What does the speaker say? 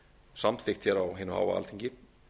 samþykkt hér á hinu háa alþingi